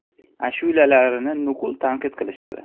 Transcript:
Ashulalarini nuqul tanqid qilishadi.